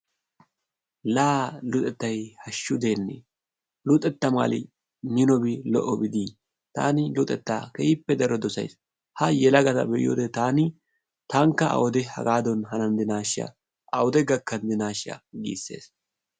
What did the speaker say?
La! luxettay hashshu deene! luxetta mali minobi lo''obi de'ii! taani luxetta keehippe daro dossays. Ha yelagata be'iyo wode taani taankka awude hagadan hananddinashsha awude gakkandinashsha giissees